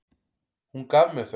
Hún gaf mér þau.